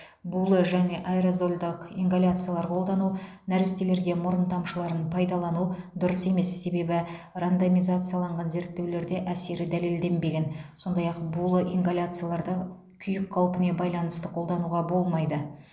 булы және аэрозольдық ингаляциялар қолдану нәрестелерге мұрын тамшыларын пайдалану дұрыс емес себебі рандомизацияланған зерттеулерде әсері дәлелденбеген сондай ақ булы ингаляцияларды күйік қаупіне байланысты қолдануға болмайды